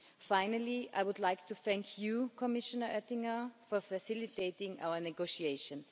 Finally, I would like to thank Commissioner Oettinger for facilitating our negotiations.